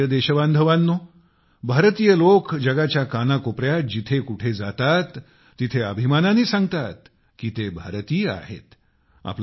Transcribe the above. माझ्या प्रिय देशबांधवांनो भारतीय लोक जगाच्या कानाकोपऱ्यात जिथे कुठे जातात तिथे अभिमानाने सांगतात कि ते भारतीय आहेत